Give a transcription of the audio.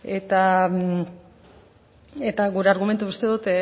eta gure argumentua uste dut